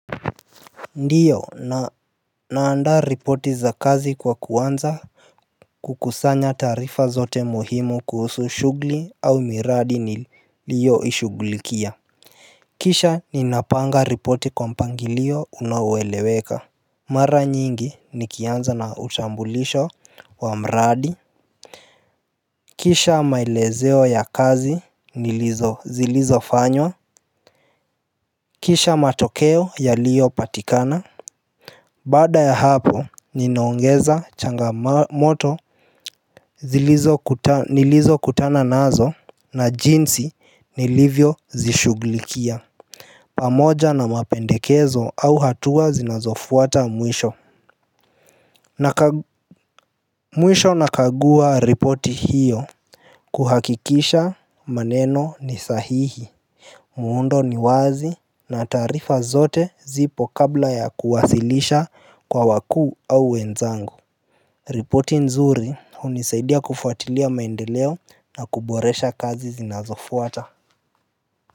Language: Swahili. Ndiyo na naanda ripoti za kazi kwa kuanza. Kukusanya taarifa zote muhimu kuhusu shughuli au miradi niliyo ishughulikia kisha ninapanga ripoti kwa mpangilio unaoeweleweka mara nyingi nikianza na utambulisho wa mradi kisha maelezeo ya kazi nilizo zilizo fanywa kisha matokeo yaliyo patikana baada ya hapo ninaongeza changamoto nilizo kutananazo na jinsi nilivyo zishughulikia. Pamoja na mapendekezo au hatua zinazofuata mwisho. Mwisho nakagua ripoti hiyo. Kuhakikisha maneno ni sahihi. Muundo ni wazi na taarifa zote zipo kabla ya kuwasilisha kwa wakuu au wenzangu. Ripoti nzuri hunisaidia kufuatilia maendeleo na kuboresha kazi zinazofuata.